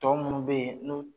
Tɔ munnun bɛ yen